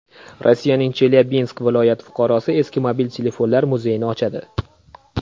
Rossiyaning Chelyabinsk viloyati fuqarosi eski mobil telefonlar muzeyini ochadi .